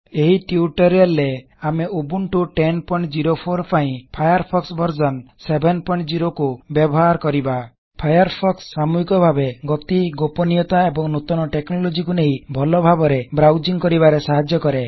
ଏହି ଟ୍ୟୁଟୋରିଆଲ ରେ ଆମେ ଉବଣ୍ଟୁ 1004 ପାଇଁ ଫାୟାରଫୋକ୍ସ ଭର୍ସନ 70 କୁ ବ୍ୟବହାର କରିବା ଫାୟାରଫୋକ୍ସ ସାମୂହିକଭାବେ ଗତି ଗୋପନୀୟତା ଏବଂ ନୂତନ ଟେକ୍ନୋଲୋଜି କୁ ନେଇ ଭଲ ଭାବରେ ବ୍ରାଉସିଂଗ୍ କରିବାରେ ସାହାଯ୍ୟ କରେ